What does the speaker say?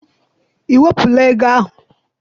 I wepụla ego ahụ?